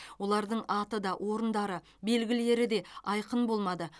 олардың аты да орындары белгілері де айқын болмады